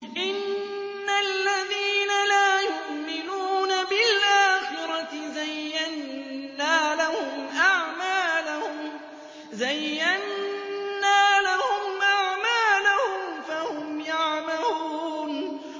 إِنَّ الَّذِينَ لَا يُؤْمِنُونَ بِالْآخِرَةِ زَيَّنَّا لَهُمْ أَعْمَالَهُمْ فَهُمْ يَعْمَهُونَ